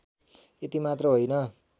यति मात्र होइन